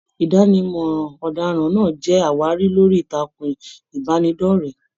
Idanimọ ọdaràn náà jẹ àwárí lórí ìtàkùn ìbánidọ̀rẹ̀.